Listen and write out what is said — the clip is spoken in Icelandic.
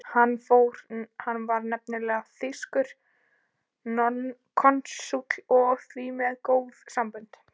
Hann var nefnilega þýskur konsúll og því með góð sambönd.